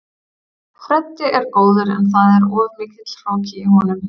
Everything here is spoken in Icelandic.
Freddi er góður en það er of mikill hroki í honum.